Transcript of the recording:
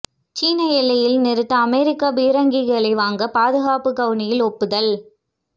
சீன எல்லையில் நிறுத்த அமெரிக்க பீரங்கிகளை வாங்க பாதுகாப்பு கவுனில் ஒப்புதல்